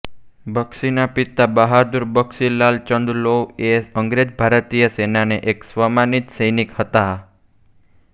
બક્ષીના પિતા બહાદુર બક્ષી લાલ ચંદ લૌ એ અંગ્રેજ ભારતીય સેનાના એક સન્માનિત સૈનિક હતા